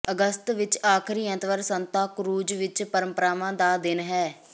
ਅਗਸਤ ਵਿਚ ਆਖ਼ਰੀ ਐਤਵਾਰ ਸੰਤਾ ਕ੍ਰੂਜ਼ ਵਿਚ ਪਰੰਪਰਾਵਾਂ ਦਾ ਦਿਨ ਹੈ